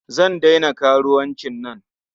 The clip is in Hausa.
Zan daina karuwancin nan.